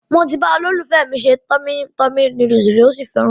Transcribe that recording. Mo ti bá olólùfẹ́ mi se Tummy Tummy Noodles rí,ó sì fẹ́ràn rẹ̀.